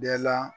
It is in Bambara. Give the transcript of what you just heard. Bɛɛ la